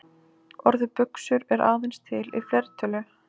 Orðið buxur er aðeins til í fleirtölu.